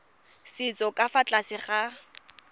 setso ka fa tlase ga